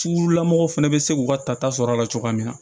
Sulamɔgɔw fana bɛ se k'u ka tata sɔrɔ a la cogoya min na